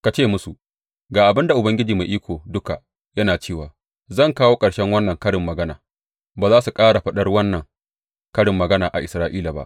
Ka ce musu, Ga abin da Ubangiji Mai Iko Duka yana cewa zan kawo ƙarshen wannan karin magana, ba za su ƙara faɗar wannan karin magana a Isra’ila ba.’